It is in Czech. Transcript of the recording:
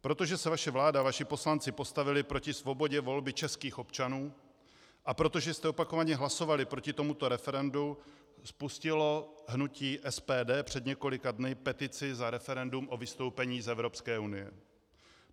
Protože se vaše vláda a vaši poslanci postavili proti svobodě volby českých občanů a protože jste opakovaně hlasovali proti tomuto referendu, spustilo hnutí SPD před několika dny petici za referendum o vystoupení z Evropské unie.